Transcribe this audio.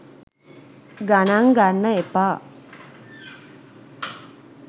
ගණන් ගන්න එපා